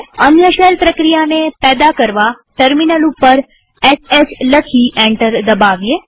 અન્ય શેલ પ્રક્રિયાને પેદા કરવાટર્મિનલ ઉપર શ લખી એન્ટર દબાવીએ